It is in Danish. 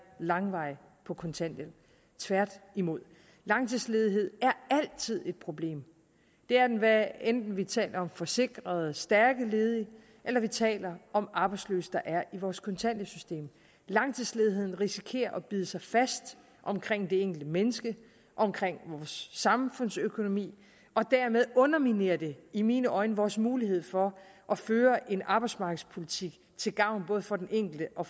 langvarigt på kontanthjælp tværtimod langtidsledighed er altid et problem det er den hvad enten vi taler om forsikrede stærke ledige eller vi taler om arbejdsløse der er i vores kontanthjælpssystem langtidsledigheden risikerer at bide sig fast omkring det enkelte menneske omkring vores samfundsøkonomi og dermed underminerer det i mine øjne vores mulighed for at føre en arbejdsmarkedspolitik til gavn både for den enkelte og